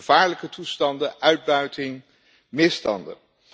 Gevaarlijke toestanden, uitbuiting, misstanden.